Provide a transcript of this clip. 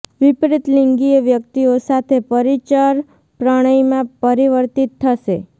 વિપરીત લિંગીય વ્યક્તિઓ સાથે પરિચર પ્રણયમાં પરિવર્તિત થશે